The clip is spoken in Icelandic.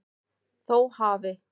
Þó hafi